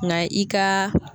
Na i kaa